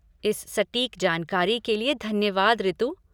इस सटीक जानकारी के लिए धन्यवाद ऋतु।